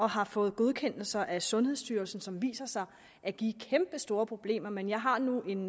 har fået godkendelser af sundhedsstyrelsen og som viser sig at give kæmpestore problemer men jeg har nu en